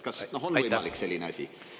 Kas on võimalik selline asi?